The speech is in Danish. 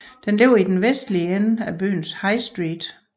Den ligger i den vestlige ende af byens High Street